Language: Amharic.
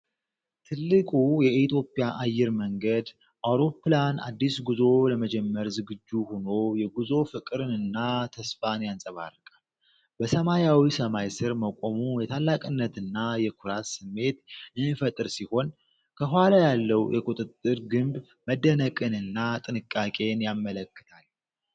ትልቁ የኢትዮጵያ አየር መንገድ አውሮፕላን አዲስ ጉዞ ለመጀመር ዝግጁ ሆኖ የጉዞ ፍቅርንና ተስፋን ያንጸባርቃል። በሰማያዊ ሰማይ ስር መቆሙ የታላቅነትና የኩራት ስሜት የሚፈጥር ሲሆን፣ ከኋላ ያለው የቁጥጥር ግንብ መደነቅንና ጥንቃቄን ያመለክታል።